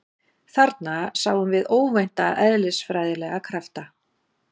Þarna sáum við óvænta eðlisfræðilega krafta